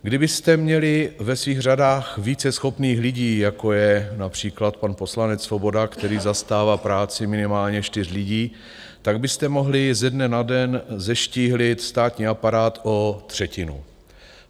Kdybyste měli ve svých řadách více schopných lidí, jako je například pan poslanec Svoboda, který zastává práci minimálně čtyř lidí, tak byste mohli ze dne na den zeštíhlit státní aparát o třetinu.